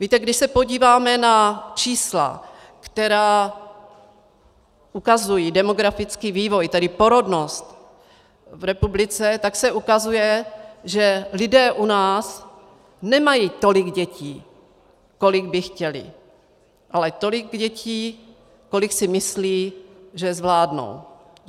Víte, když se podíváme na čísla, která ukazují demografický vývoj, tedy porodnost v republice, tak se ukazuje, že lidé u nás nemají tolik dětí, kolik by chtěli, ale tolik dětí, kolik si myslí, že zvládnou.